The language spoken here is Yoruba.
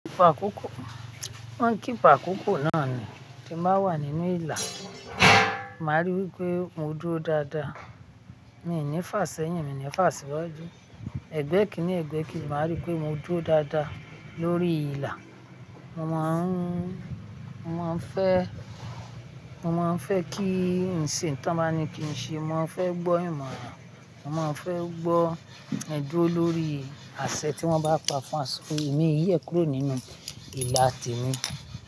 Wọ́n keep àkókò náà ni, tí máa wà nínú ìlà, màá ríi wí pé mo dúró dáadáa, mi ò ní fà sẹ́yìn, mi ò ní fà síwájú, ẹ̀gbẹ́ kìní ẹ̀gbẹ́ keji, màá ríi wí pé mo dúró dáadáa lórí ìlà. Mo máa ń, mo máa ń fẹ́, mo máa ń fẹ́ kí n ṣe nǹkan tí wọ́n bá ní kí n ṣe, mo máa ń fẹ́ gbọ́ ìmọ̀ràn, mo máa ń fẹ́ gbọ́ ẹ duro olórí àsẹ̀ tí wọ́n bá pa fún wà, èmi yẹ̀ kúrò nínú ìlà tèmi.